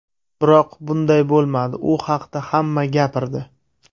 Biroq, bunday bo‘lmadi, u haqda hamma gapirdi.